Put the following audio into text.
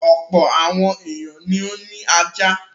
Ọ̀pọ̀ àwọn ènìyàn ni ó ní ajá.